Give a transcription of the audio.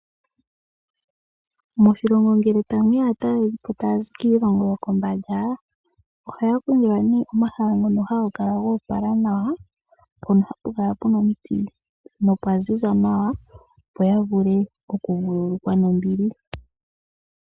Moshilongo ngele tamuya aatalelipo taya zi kiilongo yokombanda, ohaya kongo omahala ngono haga kala goopala nawa mpono hapu kala pena omiti nopwa ziza nawa, opo yavule oku vululukwa nombili.